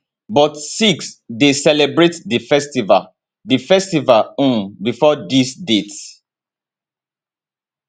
but sikhs dey celebrate di festival di festival um bifor dis date